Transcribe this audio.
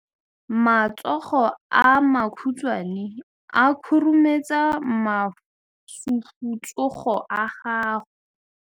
Matsogo a makhutshwane a khurumetsa masufutsogo a gago.